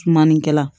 Maninkɛ